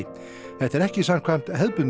þetta er ekki samkvæmt hefðbundnu